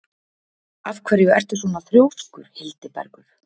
Af hverju ertu svona þrjóskur, Hildibergur?